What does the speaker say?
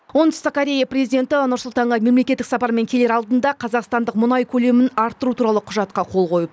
оңтүстік корея президенті нұр сұлтанға мемлекеттік сапармен келер алдында қазақстандық мұнай көлемін арттыру туралы құжатқа қол қойып